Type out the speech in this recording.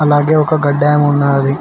అలాగే ఒక గడ్డి వాము ఉంది